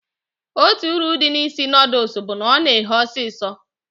Otú uru dị n'isi noodules bụ na ọ na ehe osisio